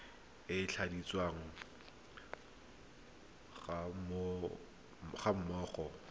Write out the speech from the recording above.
e e tladitsweng ga mmogo